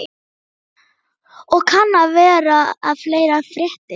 Og kann vera að fleira fréttist.